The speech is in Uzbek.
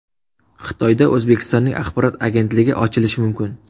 Xitoyda O‘zbekistonning axborot agentligi ochilishi mumkin.